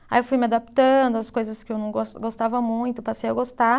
Aí eu fui me adaptando às coisas que eu não gos gostava muito, passei a gostar.